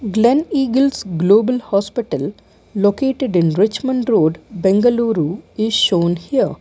Glen eagles global hospital located in richmond road bengaluru is showned here.